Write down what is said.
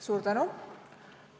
Suur tänu!